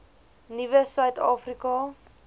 nuwe suid afrika